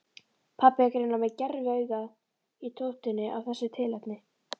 Pabbi er greinilega með gerviaugað í tóftinni af þessu tilefni.